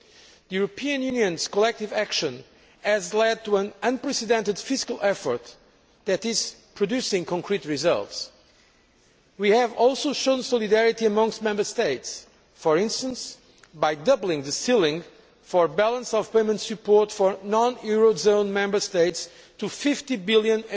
The European Union's collective action has led to an unprecedented fiscal effort that is producing concrete results. We have also shown solidarity amongst Member States, for instance by doubling the ceiling for balance of payments support for non eurozone Member States to EUR 50 billion.